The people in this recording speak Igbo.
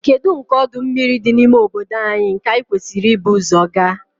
Kedu nke ọdụ mmiri dị n'ime obodo anyị nke anyị kwesịrị ibu ụzọ gaa?